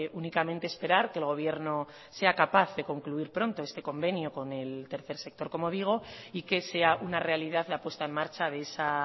únicamente esperar que el gobierno sea capaz de concluir pronto este convenio con el tercer sector como digo y que sea una realidad la puesta en marcha de esa